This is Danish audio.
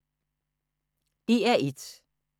DR1